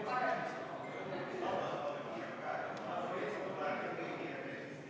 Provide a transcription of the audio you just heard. Ma ei tea, kas sellised aktsiisitõusud oleksid tingimata Rahandusministeeriumi ametnike omaenese tarkusest tulnud.